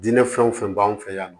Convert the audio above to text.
Diinɛ fɛn o fɛn b'an fɛ yan nɔ